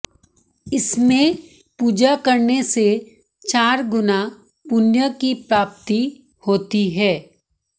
इसमें पूजा करने से चार गुना पुण्य की प्राप्ति होती है